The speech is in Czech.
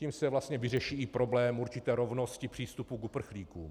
Tím se vlastně vyřeší i problém určité rovnosti přístupu k uprchlíkům.